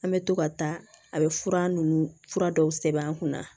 An bɛ to ka taa a bɛ fura ninnu fura dɔw sɛbɛn an kunna